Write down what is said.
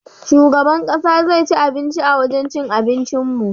Shugaban ƙasa zai ci abinci a wajan cin abincin mu.